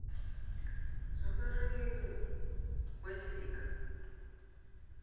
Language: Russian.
закажи базилик